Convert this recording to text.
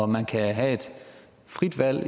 man kan have et frit valg